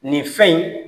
Nin fɛn in